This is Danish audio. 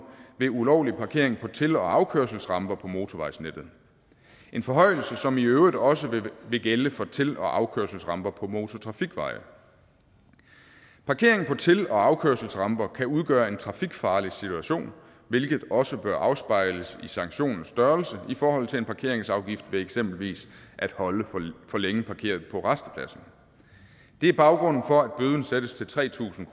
ved ulovlig parkering på til og afkørselsramper på motorvejsnettet en forhøjelse som i øvrigt også vil gælde for til og afkørselsramper på motortrafikveje parkering på til og afkørselsramper kan udgøre en trafikfarlig situation hvilket også bør afspejles i sanktionens størrelse i forhold til en parkeringsafgift ved eksempelvis at holde for længe parkeret på rastepladser det er baggrunden sættes til tre tusind